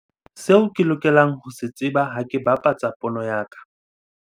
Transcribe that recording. SEO KE LOKELANG HO SE TSEBA HA KE BAPATSA POONE YA KA.